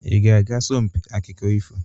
Ị ga-aga asompi akụkọ ifo?